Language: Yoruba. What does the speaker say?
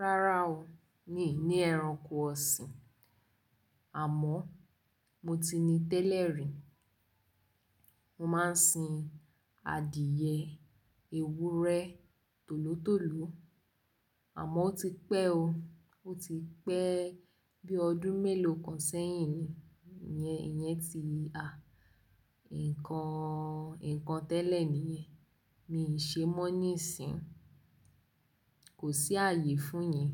Rárá o, mi ní ẹranko ọ̀sìn, àmọ́ mo ti ní tẹ́lẹ̀ rí. Mo máa ń sin adìẹ, ewúrẹ́, tòlótòló, àmọ́ ó ti pẹ́ o. Ó ti pẹ́ bí ọdún méló kan sẹ́yìn yẹn, ìyẹn ti a. Ǹkan, ǹkan tẹ́lẹ̀ nìyẹn. Mi ṣe mọ́ nísín, kò sí àyè fún yen,